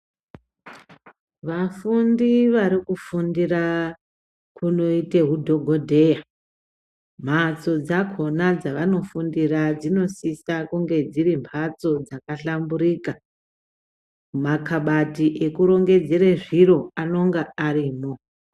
Vafundi varikufundira kunoite hudhokodheya, mhatso dzakhona dzavanofundira dzinosise kunge dziri mhatso dzakahlamburika. Makhabati ekurongedzere zviri anonga aripo.